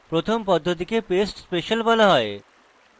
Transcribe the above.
প্রথম পদ্ধতিকে paste special বলা হয়